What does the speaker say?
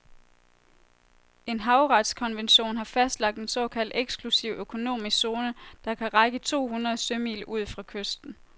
En havretskonvention har fastlagt en såkaldt eksklusiv økonomisk zone, der kan række to hundrede sømil ud fra kysten.